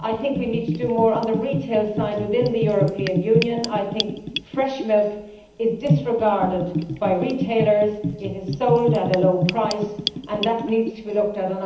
We need to do more on the retail side within the European Union. Fresh milk is disregarded by retailers it is sold at a low price, and that needs to be looked at.